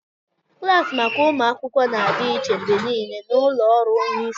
Klaasị maka ụmụ akwụkwọ na-adị iche mgbe niile na ụlọ ọrụ onye isi